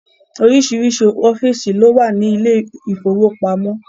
Oríṣiríṣi ọ́fíìsì ló wà ní ilé ìfowópamọ́.